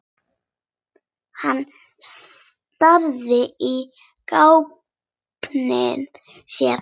Hann starði í gaupnir sér.